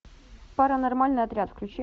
паранормальный отряд включи